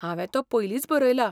हांवें तो पयलींच बरयला.